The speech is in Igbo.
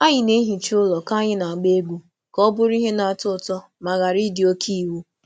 Anyị na-ehicha ụlọ ka anyị na-agba egwu ka ọ bụrụ ihe na-atọ ụtọ ma ghara ịdị oke iwu.